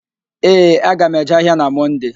Ee, aga m eje ahịa na Mọnde